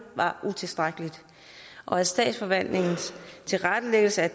var utilstrækkeligt og at statsforvaltningens tilrettelæggelse af